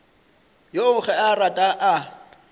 yoo ge a rata a